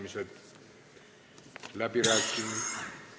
Avan läbirääkimised.